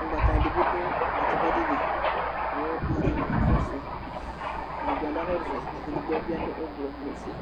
Ʋgbataɖibi ɖʋ atʋpaɖili kʋ atani kakɔsui eɖigbo aɖʋ awuvɛ k'ɛɖibi aɖʋ ɔblɔ n'ʋfue